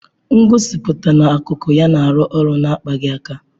Ngosipụta na-akụkụ ya na alu olu na-akpaghị aka.